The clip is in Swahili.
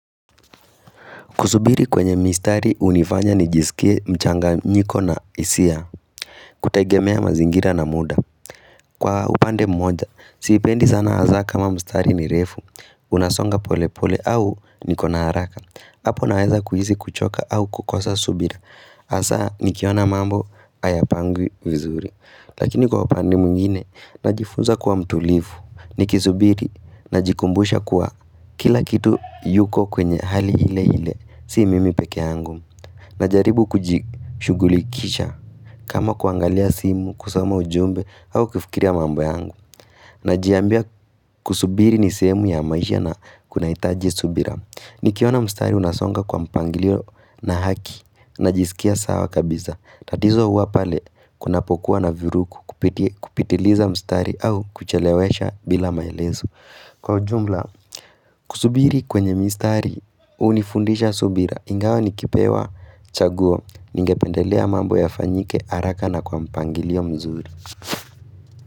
Kusubiri kwenye mistari hunifanya nijisikie mchanganyiko na hisia, kutegemea mazingira na muda. Kwa upande mmoja, siipendi sana hasa kama mistari ni refu, unasonga pole pole au niko na haraka. Apo naweza kuhisi kuchoka au kukosa subira, hasa nikiona mambo hayapangwi vizuri. Lakini kwa upande mwngine, najifunza kuwa mtulivu, nikisubiri, najikumbusha kuwa kila kitu yuko kwenye hali ile ile. Si mimi pekee yangu Najaribu kujishughulikisha kama kuangalia simu, kusoma ujumbe au kifikiria mambo yangu Najiambia kusubiri ni sehemu ya maisha na kunahitaji subira. Nikiona mstari unasonga kwa mpangilio na haki najisikia sawa kabisa. Tatizo huwa pale kunapokua na viruku kupitiliza mstari au kuchelewesha bila maelezo. Kwa ujumla, kusubiri kwenye mistari hunifundisha subira, ingawa nikipewa chaguo, ningependelea mambo yafanyike haraka na kwa mpangilio mzuri.